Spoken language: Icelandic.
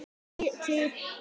Hverra aðgerða þá?